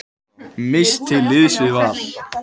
Mist til liðs við Val